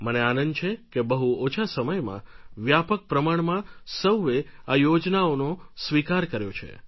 મને આનંદ છે કે બહુ ઓછા સમયમાં વ્યાપક પ્રમાણમાં સૌએ આ યોજનાઓનો સ્વીકાર કર્યો છે